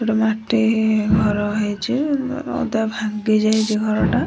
ଗୋଟେ ମାଟି ଘର ହେଇଚି ଅଧା ଭାଙ୍ଗି ଯାଇଚି ଘରଟା।